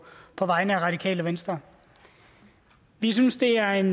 vegne af radikale venstre vi synes det er en